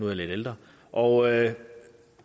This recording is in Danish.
jeg lidt ældre og